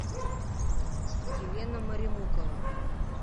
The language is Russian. елена маремукова